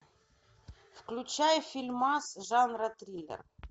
включай фильмас жанра триллер